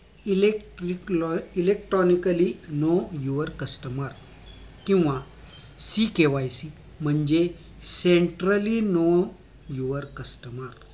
electronically know your customer किंवा C KYC म्हणजे centrally know your coustmer